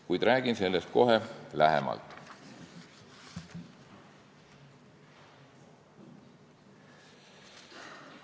Kuid räägin sellest kohe lähemalt.